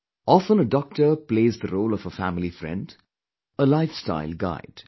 Often a doctor plays the role of a family friend, a lifestyle guide